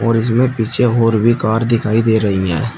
और इसमें पीछे और भी कार दिखाई दे रही हैं।